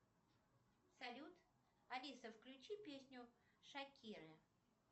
салют алиса включи песню шакиры